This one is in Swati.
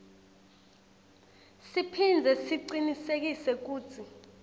siphindze sicinisekise kutsi